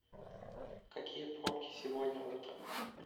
какие пробки сегодня утром